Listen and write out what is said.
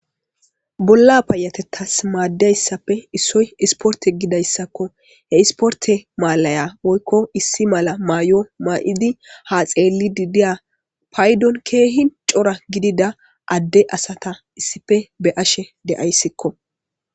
Bolla payatettas maaddiayssappe issoy isporte gidayssakko he isporte maalaya woykko issi mala maayo maa7idi ha xeelli didiya paydon keehi cora gidida adde asata issife be ashe deayssikko.